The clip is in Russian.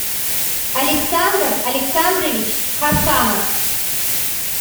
александр александрович хасанов